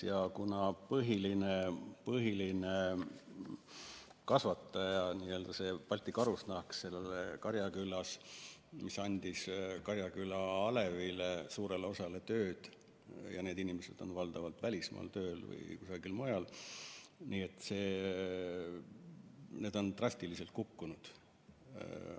Ja kuna põhiline kasvataja oli Balti Karusnahk Karjakülas, mis andis suurele osale Karjaküla alevi inimestest tööd ja need inimesed on nüüdseks tööl valdavalt välismaal või kusagil mujal, siis on see arv drastiliselt kukkunud.